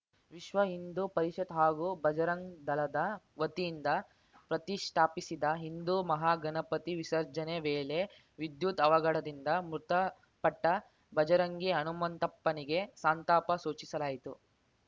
ವಿಶ್ವಹಿಂದೂ ಪರಿಷತ್‌ ಹಾಗೂ ಭಜರಂಗದಳದ ವತಿಯಿಂದ ಪ್ರತಿಷ್ಠಾಪಿಸಿದ್ದ ಹಿಂದೂ ಮಹಾಗಣಪತಿ ವಿಸರ್ಜನೆ ವೇಳೆ ವಿದ್ಯುತ್‌ ಅವಘಡದಿಂದ ಮೃತಪಟ್ಟಭಜರಂಗಿ ಹನುಮಂತಪ್ಪನಿಗೆ ಸಂತಾಪ ಸೂಚಿಸಲಾಯಿತು